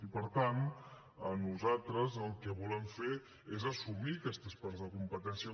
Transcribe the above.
i per tant nosaltres el que volem fer és assumir aquestes parts de competència